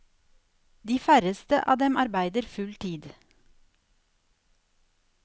De færreste av dem arbeider full tid.